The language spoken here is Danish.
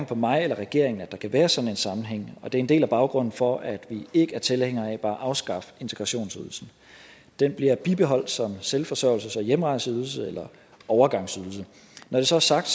på mig eller regeringen at der kan være sådan en sammenhæng og det er en del af baggrunden for at vi ikke er tilhængere af bare at afskaffe integrationsydelsen den bliver bibeholdt som selvforsørgelses og hjemrejseydelse eller overgangsydelse når det så er sagt